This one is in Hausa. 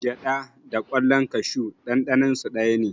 Gyaɗa da ƙwallan kashu ɗanɗaninsu daya ne.